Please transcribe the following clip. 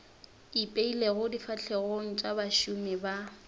ipeilego difahlegong tša bašomi ba